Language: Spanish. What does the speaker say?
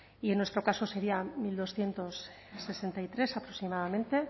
y en nuestro caso serían mil doscientos sesenta y tres aproximadamente